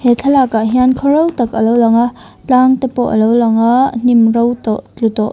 he thlalakah hian khaw ro tak alo langa tlang te pawh alo langa hnim ro tawh tlu tawh .